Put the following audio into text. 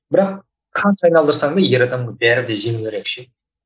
бірақ қанша айналдырсаң да ер адамға бәрі де жеңілдірек ше